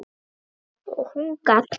Og hún gat allt.